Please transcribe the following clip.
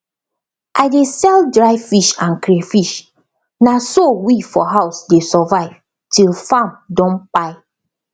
i dey sell dry fish and crayfish na so we for house dey survive till farm don kpai